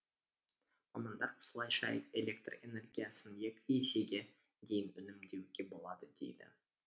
мамандар осылайша электр энергиясын екі есеге дейін үнемдеуге болады дейді